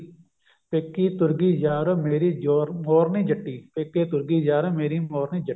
ਪੇਕੇ ਤੁਰ ਗਾਈ ਯਾਰ ਮੇਰੀ ਜੋਰ ਮੋਰਨੀ ਜੱਟੀ ਪੇਕੇ ਤੁਰ ਗਈ ਯਾਰ ਮੇਰੀ ਮੋਰਨੀ ਜੱਟੀ